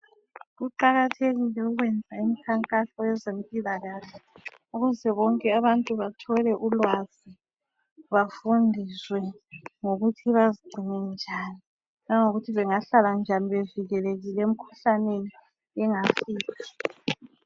Kuqakathekile ukwenza imikhankaso yezempilakahle ukuze bonke abantu bathole ulwazi bafundiswe ngokuthi bazigcine bangahlala njani bevikelekile emkhuhlaneni bengafile